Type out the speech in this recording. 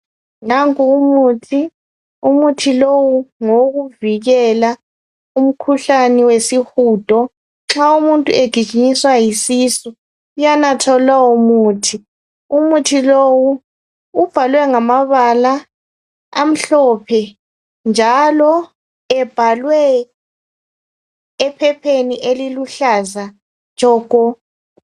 Nanku umuthi, umuthi lowu ngowokuvikela umkhuhlane wesihudo nxa umuntu egijinyiswa yisisu uyanatha lowomuthi umuthi lowu ubhalwe ngamabala amhlophe njalo ebhalwe ephepheni eliluhlaza tshoko.